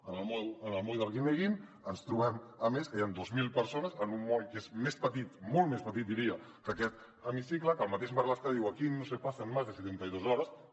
en el moll d’arguineguín ens trobem a més que hi ha dos mil persones en un moll que és més petit molt més petit diria que aquest hemicicle que el mateix marlaska diu aquí no se pasan más de setenta y dos horas